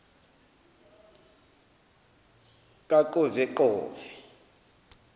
kaqoveqove